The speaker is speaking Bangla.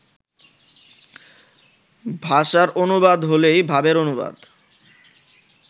ভাষার অনুবাদ হইলেই ভাবের অনুবাদ